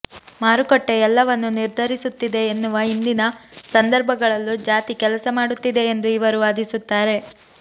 ಮಾರುಕಟ್ಟೆ ಎಲ್ಲವನ್ನು ನಿರ್ಧರಿಸುತ್ತಿದೆ ಎನ್ನುವ ಇಂದಿನ ಸಂದರ್ಭಗಳಲ್ಲೂ ಜಾತಿ ಕೆಲಸ ಮಾಡುತ್ತಿದೆ ಎಂದು ಇವರು ವಾದಿಸುತ್ತಾರೆ